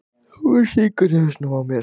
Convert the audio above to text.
Hún syngur í hausnum á mér.